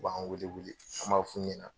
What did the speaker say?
U b'an wele wele an b'a f'u ɲɛ na.